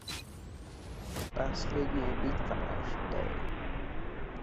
последняя битва аш дэ